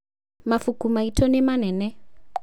mabuku maitũ nĩ manene